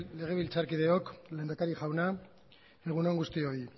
legebiltzarkideok lehendakari jauna egun on guztioi